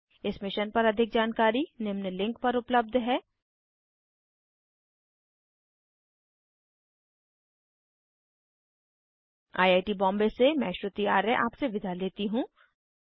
इस मिशन पर अधिक जानकरी निम्न लिंक पर उपलब्ध हैhttpspoken tutorialorgNMEICT Intro I I T Bombay से मैं श्रुति आर्य अब आपसे विदा लेती हूँ